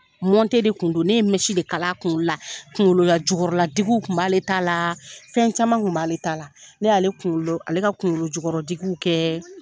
de kun don, ne ye de kala a kunkolo la. Kunkolo la jukɔrɔla digiw tun b'ale t'a la, fɛn caman kun b'ale t'a la. Ne y'ale kunkolo ,ale ka kunkolo jukɔrɔ digiw kɛ